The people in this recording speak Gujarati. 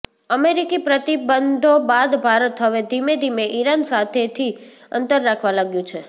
અમેરિકી પ્રતિબંધો બાદ ભારત હવે ધીમે ધીમે ઈરાન સાથેથી અંતર રાખવા લાવ્યું છે